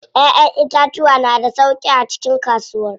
Ƴaƴan itatuwa na da sauƙi a cikin kasuwar.